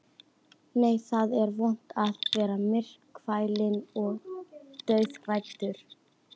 Nei, það er vont að vera myrkfælinn og draughræddur.